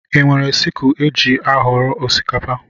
Ị nwere sikul éjị aghọrọ osikapa?